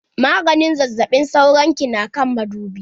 Maganin zazzaɓin sauron ki na kan madubi.